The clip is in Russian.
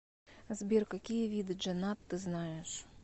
сбер какие виды джаннат ты знаешь